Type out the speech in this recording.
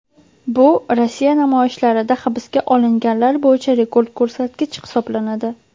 Bu Rossiya namoyishlarida hibsga olinganlar bo‘yicha rekord ko‘rsatkich hisoblanadi .